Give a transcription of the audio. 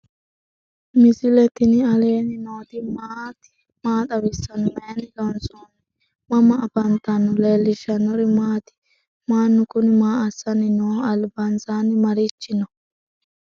misile tini alenni nooti maati? maa xawissanno? Maayinni loonisoonni? mama affanttanno? leelishanori maati? maanu kuni maa asani nooho ?albansanni marichi no?